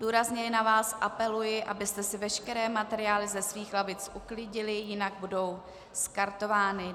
Důrazně na vás apeluji, abyste si veškeré materiály ze svých lavic uklidili, jinak budou skartovány.